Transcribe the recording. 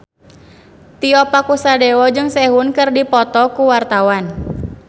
Tio Pakusadewo jeung Sehun keur dipoto ku wartawan